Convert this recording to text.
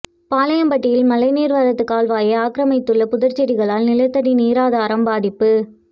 பாளையம்பட்டியில் மழைநீா்வரத்துக் கால்வாயை ஆக்கிர மித்துள்ள புதா்ச்செடிகளால் நிலத்தடி நீரா தாரம் பாதிப்பு